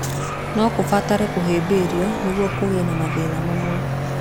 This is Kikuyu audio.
No kũbatare kũhĩmbĩrio nĩguo kũgĩe na mathĩna mamwe.